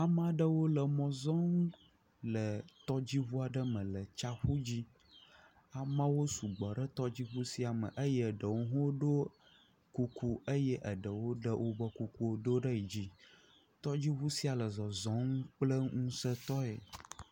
Amea ɖewo le mɔ zɔm le tɔdziŋu aɖe me le tsiaƒu dzi. Ameawo sugbɔ ɖe tɔdziŋu sia me eye eɖewo hã woɖo kuku eye eɖewo hã ɖe wobe kuku do ɖe yi dzi, tɔdziŋu sia le zɔzɔm kple ŋusẽtɔe.